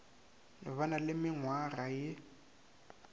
ba na le menngwaga ye